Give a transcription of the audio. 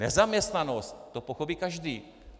Nezaměstnanost, to pochopí každý.